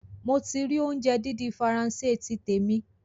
Mo ti rì óunjẹ dídín Faransé ti tèmi